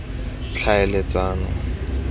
tlhaeletsano